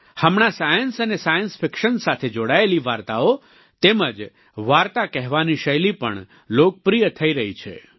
હમણાંસાયન્સ અને science fiction સાથે જોડાયેલી વાર્તાઓ તેમજ વાર્તા કહેવાની શૈલી પણ લોકપ્રિય થઈ રહી છે